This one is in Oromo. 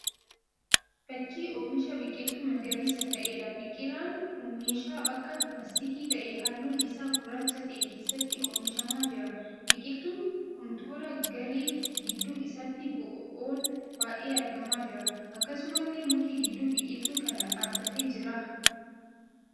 Fakkii oomisha biqiltuu magariisaa ta'eedha. Biqilaan kun meeshaa akka laastikii ta'ee halluun isaa gurraacha ta'e keessatti oomishamaa jira. Biqiltuun kun tooraa galee gidduu isaatti bo'oon ba'ee argamaa jira. Akkasumallee muki gidduu biqiltuu kanaa dhaabbatee jira.